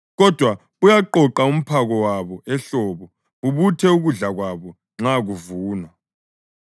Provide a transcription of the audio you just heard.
kodwa buyaqoqa umphako wabo ehlobo bubuthe ukudla kwabo nxa kuvunwa.